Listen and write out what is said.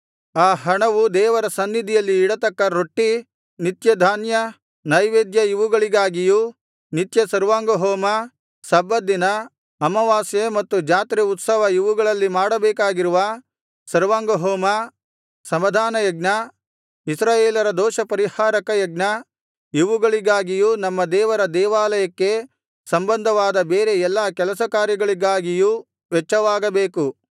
ಆ ಹಣವು ದೇವರ ಸನ್ನಿಧಿಯಲ್ಲಿ ಇಡತಕ್ಕ ರೊಟ್ಟಿ ನಿತ್ಯಧಾನ್ಯ ನೈವೇದ್ಯ ಇವುಗಳಿಗಾಗಿಯೂ ನಿತ್ಯ ಸರ್ವಾಂಗಹೋಮ ಸಬ್ಬತ್ ದಿನ ಅಮಾವಾಸ್ಯೆ ಮತ್ತು ಜಾತ್ರೆ ಉತ್ಸವ ಇವುಗಳಲ್ಲಿ ಮಾಡಬೇಕಾಗಿರುವ ಸರ್ವಾಂಗಹೋಮ ಸಮಾಧಾನಯಜ್ಞ ಇಸ್ರಾಯೇಲರ ದೋಷಪರಿಹಾರಕ ಯಜ್ಞ ಇವುಗಳಿಗಾಗಿಯೂ ನಮ್ಮ ದೇವರ ದೇವಾಲಯಕ್ಕೆ ಸಂಬಂಧವಾದ ಬೇರೆ ಎಲ್ಲಾ ಕೆಲಸಕಾರ್ಯಗಳಿಗಾಗಿಯೂ ವೆಚ್ಚವಾಗಬೇಕು